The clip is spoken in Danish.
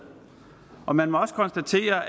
og man må også konstatere